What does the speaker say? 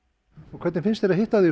hvernig finnst þér að hitta þig